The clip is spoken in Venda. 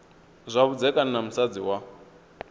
zwa vhudzekani na musadzi wa